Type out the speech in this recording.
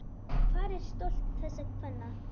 Hvar er stolt þessara kvenna?